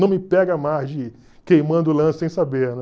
Não me pega mais de ir queimando o lance sem saber, né?